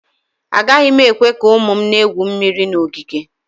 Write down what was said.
Agaghị m ekwe ka ụmụ m na-egwu mmiri na ogige